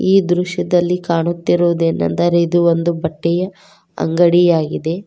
ಈ ದೃಶ್ಯದಲ್ಲಿ ಕಾಣುತ್ತಿರುವುದೇನೆಂದರೆ ಇದು ಒಂದು ಬಟ್ಟೆಯ ಅಂಗಡಿಯಾಗಿದೆ.